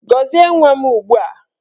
Gọzie nwa m ugbua!